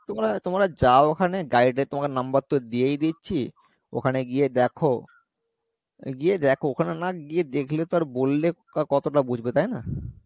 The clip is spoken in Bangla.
তোমরা তোমরা যাও ওখানে guide এর তোমাকে number তো দিয়েই দিয়েছি ওখানে গিয়ে দেখো, গিয়ে দেখো ওখানে না গিয়ে দেখলে তো আর বললে কতটা বুঝবে তাই না?